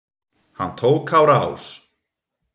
Hann tók á rás.